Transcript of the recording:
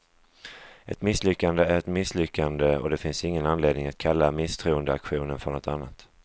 Ett misslyckande är ett misslyckande, och det finns ingen anledning att kalla misstroendeaktionen för något annat.